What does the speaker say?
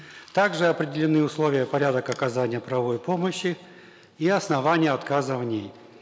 также определены условия и порядок оказания правовой помощи и основания отказа в ней